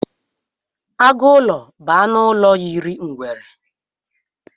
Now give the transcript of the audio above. Agụlọ bụ anụ ụlọ yiri ngwere.